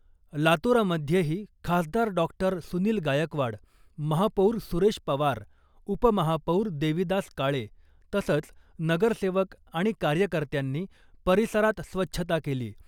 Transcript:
लातुरामध्येही खासदार डॉक्टर सुनिल गायकवाड , महापौर सुरेश पवार , उपमहापौर देवीदास काळे , तसंच नगरसेवक आणि कार्यकर्त्यांनी परिसरात स्वच्छता केली .